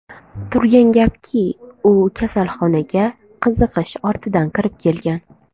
Turgan gapki, u kasalxonaga qiziqish ortidan kirib kelgan.